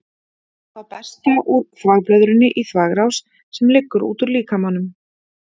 Þá berst það úr þvagblöðrunni í þvagrás sem liggur út úr líkamanum.